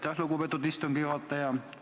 Aitäh, lugupeetud istungi juhataja!